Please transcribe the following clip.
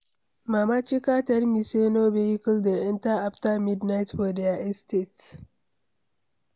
Mama Chika tell me say no vehicle dey enter after midnight for their estate.